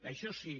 això sí